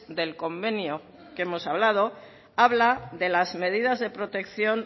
del convenio que hemos hablado habla de las medidas de protección